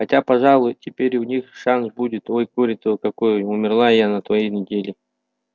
хотя пожалуй теперь у них шанс будет ой горе-то какое умерла я на той неделе